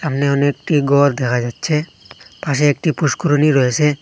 এখানে অনেকটি ঘর দেখা যাচ্ছে পাশে একটি পুস্করিণী রয়েসে।